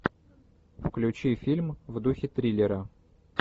включи фильм в духе триллера